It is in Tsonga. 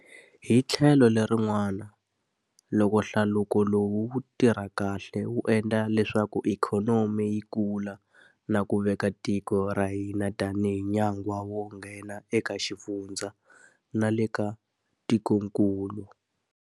Hi tlhelo lerin'wana, loko hlaluko lowu wu tirha kahle wu endla leswaku ikhonomi yi kula na ku veka tiko ra ka hina tanihi nyangwa wo nghena eka xifundza na le ka tikokulu.